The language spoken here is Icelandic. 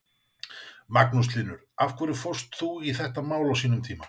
Magnús Hlynur: Af hverju fórst þú í þetta mál á sínum tíma?